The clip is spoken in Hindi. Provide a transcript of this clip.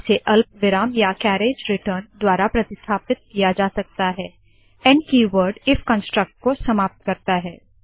इसे अल्पविराम या कएरेज रिटर्न द्वारा प्रतिस्थापित किया जा सकता है n end keyword if construct को समाप्त करता है